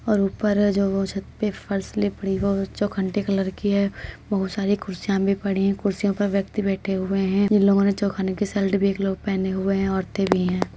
और ऊपर छत पे जो फर्श कलर की है। बहोत सारी कुर्सिया भी पड़ी। कुर्सियों पर व्यक्ति बैठे हुए हैं। इन लोगों ने चौखाने की एक शर्ट भी एक लोग पहने हुऐ हैं। औरते भी हैं।